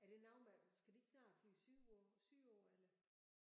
Er det noget med skal de ikke snart flyve sydpå sydpå eller?